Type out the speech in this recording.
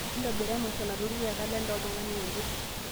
ntobira emasho nalotu te kalenda oltungana ooje